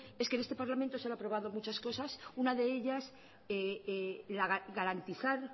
es que en este parlamento se han aprobado muchas cosas una de ellas garantizar